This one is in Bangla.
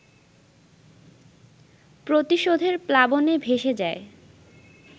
প্রতিশোধের প্লাবনে ভেসে যায়